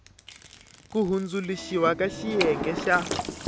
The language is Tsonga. ku hundzuluxiwa ka xiyenge xa